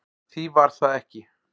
Því var það ekki